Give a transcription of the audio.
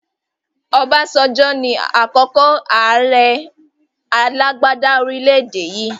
Obasanjo ni àkọ́kọ́ àrẹ alàgbàda orílédé yii